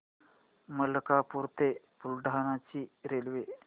मलकापूर ते बुलढाणा ची रेल्वे